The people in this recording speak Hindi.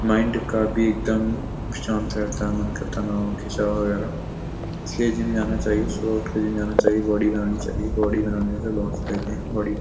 माइंड का भी एकदम शांत रहता है मन का तनाव खींचाव वगेरा । इसलिए जिम जाना चाहिए। सुबह उठके जिम जाना चाहिए। बॉडी बनानी चाहिए। बॉडी बनाने से बोहोत फायदे हैं। बॉडी --